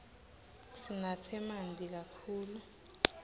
sinatse manti kakhulu